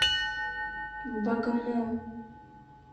богомол